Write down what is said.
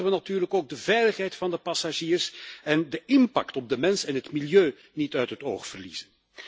Maar laten we natuurlijk ook de veiligheid van de passagiers en de impact op de mens en het milieu niet uit het oog verliezen.